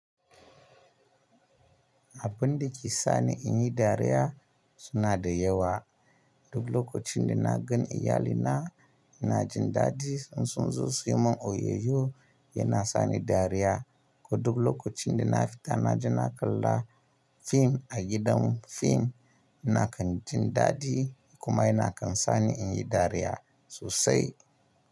Abun da ke sani in yi dariya suna da yawa. Duk lokacin da na gan iyalina ina jin dadi, in sun zo su yi mun oyoyo yana sani dariya. Ko dubu lokacin da na fita na ji na kalla fim a gidan fim, ina kan jin dadi kuma yana kan sani in yi dariya sosai.